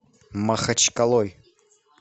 махачкалой